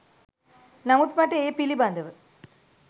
නමුත් මට ඒ පිළිබඳව